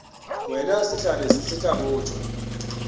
wena sehlare se tla botšwa